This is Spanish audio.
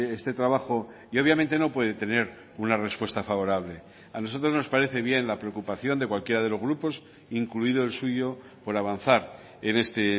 este trabajo y obviamente no puede tener una respuesta favorable a nosotros nos parece bien la preocupación de cualquiera de los grupos incluido el suyo por avanzar en este